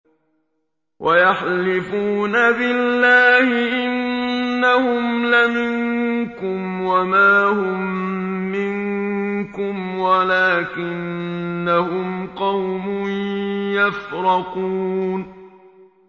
وَيَحْلِفُونَ بِاللَّهِ إِنَّهُمْ لَمِنكُمْ وَمَا هُم مِّنكُمْ وَلَٰكِنَّهُمْ قَوْمٌ يَفْرَقُونَ